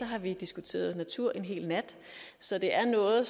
har vi diskuteret natur en hel nat så det er noget